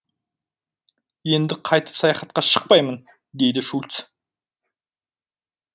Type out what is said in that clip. енді қайтып саяхатқа шықпаймын деді шульц